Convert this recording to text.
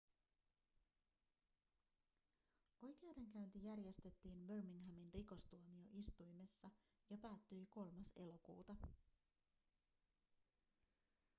oikeudenkäynti järjestettiin birminghamin rikostuomioistuimessa ja päättyi 3 elokuuta